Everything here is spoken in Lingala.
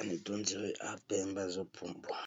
aza ondiré aza pembe azo pumbwa.